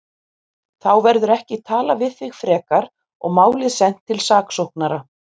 Þá verður ekki talað við þig frekar og málið sent til saksóknara.